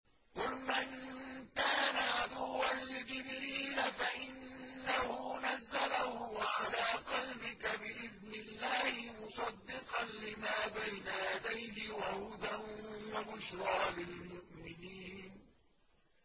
قُلْ مَن كَانَ عَدُوًّا لِّجِبْرِيلَ فَإِنَّهُ نَزَّلَهُ عَلَىٰ قَلْبِكَ بِإِذْنِ اللَّهِ مُصَدِّقًا لِّمَا بَيْنَ يَدَيْهِ وَهُدًى وَبُشْرَىٰ لِلْمُؤْمِنِينَ